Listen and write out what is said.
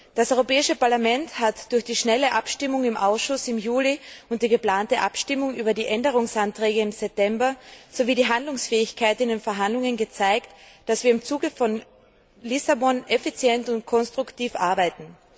Das Europäische Parlament hat durch die schnelle Abstimmung im Ausschuss im Juli und die geplante Abstimmung über die Änderungsanträge im September sowie die Handlungsfähigkeit in den Verhandlungen gezeigt, dass wir im Zuge von Lissabon effizient und konstruktiv arbeiten.